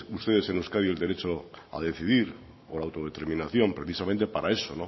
ustedes en euskadi el derecho a decidir o la autodeterminación precisamente para eso